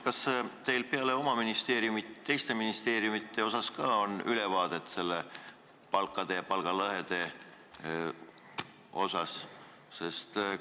Kas teil peale oma ministeeriumi on ülevaadet ka teiste ministeeriumide palkadest ja palgalõhedest?